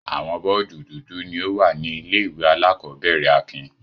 Àwọn bọ́ọ́dù dúdú ni ó wà ní ilé-ìwé alákọ̀ọ́bẹ̀rẹ̀ Akin.